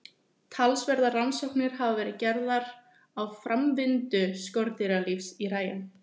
Talsverðar rannsóknir hafa verið gerðar á framvindu skordýralífs í hræjum.